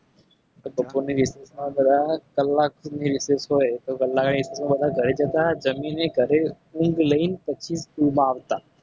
હા કલાક ની recess હોય. તો ઘરે જતા જમીને ઘરે ઊંઘ લઈને પછી school માં આવતા